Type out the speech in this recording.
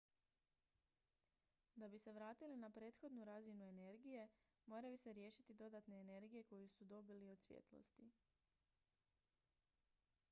da bi se vratili na prethodnu razinu energije moraju se riješiti dodatne energije koju su dobili od svjetlosti